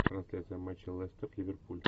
трансляция матча лестер ливерпуль